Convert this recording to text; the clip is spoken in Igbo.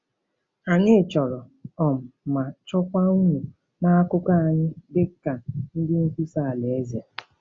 Anyị chọrọ um ma chọkwa unu n’akụkụ anyị dị ka ndị nkwusa Alaeze.